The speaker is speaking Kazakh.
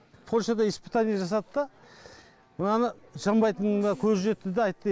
польшада испытание жасады да мынаны жанбайтынына көзі жетті де айтты